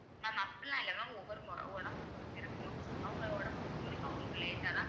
mam அப்படிலாம் இல்லை mam ஒவ்வொரு உ~ உட~ உடம்பு பொறுத்து இருக்கு mam அவங்க உடம்பு பொறுத்தவரைக்கும் அவங்களுக்கு late ஆ தான்